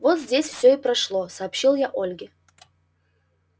вот здесь все и прошло сообщил я ольге